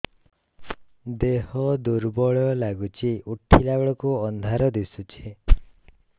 ଦେହ ଦୁର୍ବଳ ଲାଗୁଛି ଉଠିଲା ବେଳକୁ ଅନ୍ଧାର ଦିଶୁଚି